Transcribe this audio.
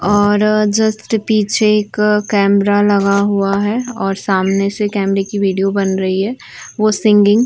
और जस्ट पीछे एक कैमरा लगा हुआ हैं और सामने से कैमरे की विडियो बन रही हैं। वो सिंगिग --